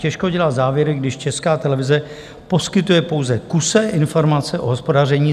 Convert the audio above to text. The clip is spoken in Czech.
Těžko dělat závěry, když Česká televize poskytuje pouze kusé informace o hospodaření.